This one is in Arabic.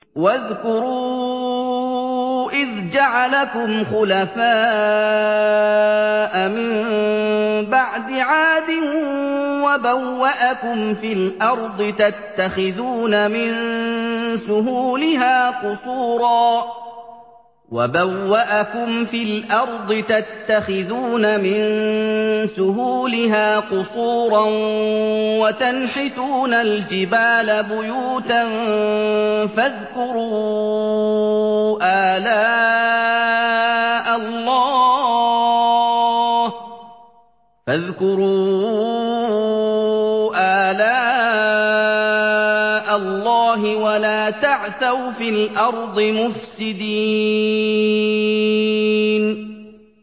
وَاذْكُرُوا إِذْ جَعَلَكُمْ خُلَفَاءَ مِن بَعْدِ عَادٍ وَبَوَّأَكُمْ فِي الْأَرْضِ تَتَّخِذُونَ مِن سُهُولِهَا قُصُورًا وَتَنْحِتُونَ الْجِبَالَ بُيُوتًا ۖ فَاذْكُرُوا آلَاءَ اللَّهِ وَلَا تَعْثَوْا فِي الْأَرْضِ مُفْسِدِينَ